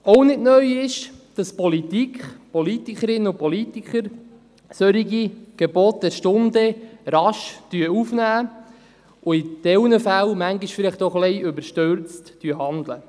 Auch nicht neu ist, dass die Politik, die Politikerinnen und Politiker, solche Gebote der Stunde rasch aufnehmen und in gewissen Fällen vielleicht etwas überstürzt handeln.